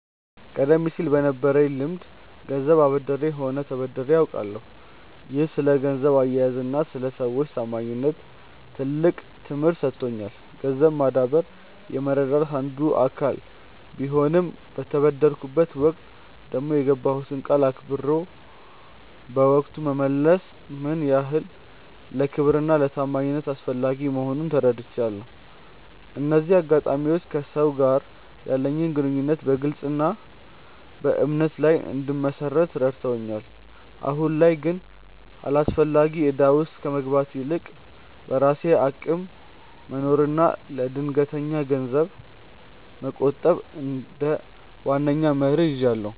ቀደም ሲል በነበረኝ ልምድ ገንዘብ አበድሬም ሆነ ተበድሬ አውቃለሁ፤ ይህም ስለ ገንዘብ አያያዝና ስለ ሰዎች ታማኝነት ትልቅ ትምህርት ሰጥቶኛል። ገንዘብ ማበደር የመረዳዳት አንዱ አካል ቢሆንም፣ በተበደርኩበት ወቅት ደግሞ የገባሁትን ቃል አክብሮ በወቅቱ መመለስ ምን ያህል ለክብርና ለታማኝነት አስፈላጊ መሆኑን ተረድቻለሁ። እነዚህ አጋጣሚዎች ከሰዎች ጋር ያለኝን ግንኙነት በግልጽነትና በእምነት ላይ እንድመሰርት ረድተውኛል። አሁን ላይ ግን አላስፈላጊ እዳ ውስጥ ከመግባት ይልቅ፣ በራሴ አቅም መኖርንና ለድንገተኛ ነገር ገንዘብ መቆጠብን እንደ ዋነኛ መርህ ይዣለሁ።